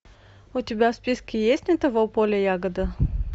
у тебя в списке есть не того поля ягода